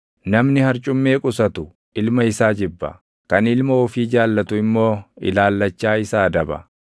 Namni harcummee qusatu ilma isaa jibba; kan ilma ofii jaallatu immoo ilaallachaa isa adaba.